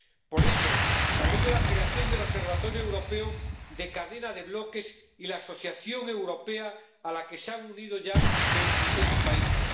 Por ello, saludo la creación del observatorio europeo de cadena de bloques y la asociación europea, a la que se han unido ya veintiséis países.